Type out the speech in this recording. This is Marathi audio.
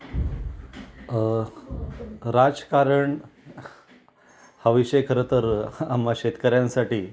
अ राजकारण हा विषय खरं तर आम्हा शेतकर्यांसाठी